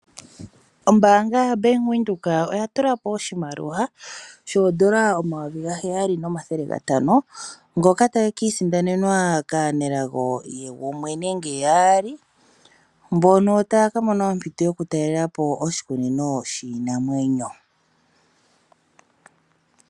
Ombaanga yaBank Windhoek oya tulapo N$7500 , ngoka tage kiisindanenwa kaanelago gumwe nenge yaali ,mbono taya kamona ompito y ompito yokutaalelapo oshikunino shiinamwenyo.